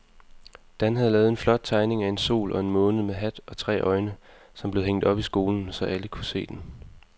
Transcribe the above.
Dan havde lavet en flot tegning af en sol og en måne med hat og tre øjne, som blev hængt op i skolen, så alle kunne se den.